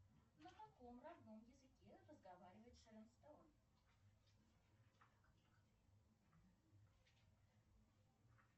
на каком родном языке разговаривает шэрон стоун